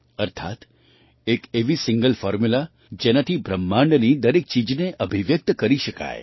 અર્થાત્ એક એવી સિંગલ ફૉર્મ્યૂલા જેનાથી બ્રહ્માંડની દરેક ચીજને અભિવ્યક્ત કરી શકાય